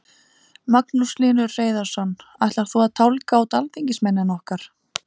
Magnús Hlynur Hreiðarsson: Ætlar þú að tálga út alþingismennina okkar?